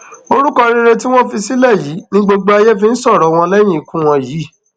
orúkọ rere tí wọn fi sílẹ yìí ni gbogbo ayé fi ń sọrọ wọn lẹyìn ikú wọn yìí